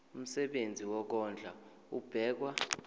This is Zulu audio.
umsebenzi wokondla ubekwa